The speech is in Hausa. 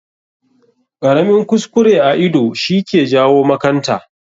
Ƙaramin kuskure a ido shi ke jawo makanta.